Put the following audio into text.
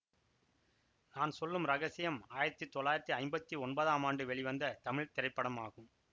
நான் சொல்லும் ரகசியம் ஆயிரத்தி தொள்ளாயிரத்தி ஐம்பத்தி ஒன்பதாம் ஆண்டு வெளிவந்த தமிழ் திரைப்படமாகும்